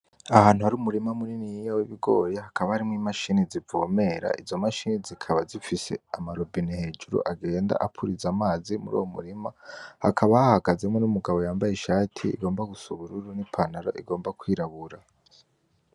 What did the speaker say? Ahantu hari umurima muniniya w'ibigori. Hakaba harimwo imashini zivomera. Izo mashini zikaba zifise ama robine hejuru agenda apuriza amazi muri uwo murima. Hakaba hahagazemwo n'umugabo yambaye ishati igomba gusa ubururu n'ipantaro igomba kwirabura.